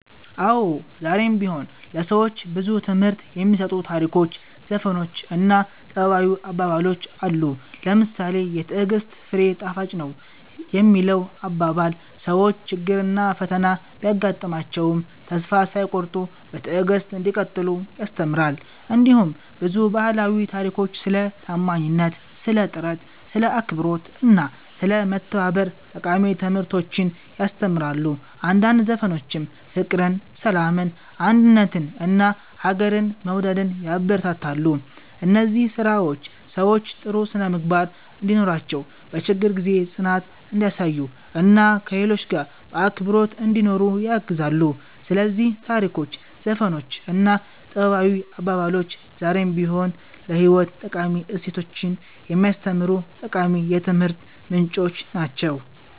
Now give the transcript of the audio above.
አዎ፣ ዛሬም ቢሆን ለሰዎች ብዙ ትምህርት የሚሰጡ ታሪኮች፣ ዘፈኖች እና ጥበባዊ አባባሎች አሉ። ለምሳሌ ‘የትዕግሥት ፍሬ ጣፋጭ ነው’ የሚለው አባባል ሰዎች ችግርና ፈተና ቢያጋጥማቸውም ተስፋ ሳይቆርጡ በትዕግሥት እንዲቀጥሉ ያስተምራል። እንዲሁም ብዙ ባህላዊ ታሪኮች ስለ ታማኝነት፣ ስለ ጥረት፣ ስለ አክብሮት እና ስለ መተባበር ጠቃሚ ትምህርቶችን ያስተምራሉ። አንዳንድ ዘፈኖችም ፍቅርን፣ ሰላምን፣ አንድነትን እና ሀገርን መውደድን ያበረታታሉ። እነዚህ ስራዎች ሰዎች ጥሩ ስነ-ምግባር እንዲኖራቸው፣ በችግር ጊዜ ጽናት እንዲያሳዩ እና ከሌሎች ጋር በአክብሮት እንዲኖሩ ያግዛሉ። ስለዚህ ታሪኮች፣ ዘፈኖች እና ጥበባዊ አባባሎች ዛሬም ቢሆን ለህይወት ጠቃሚ እሴቶችን የሚያስተምሩ ጠቃሚ የትምህርት ምንጮች ናቸው።"